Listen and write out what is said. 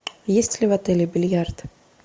есть ли в отеле бильярд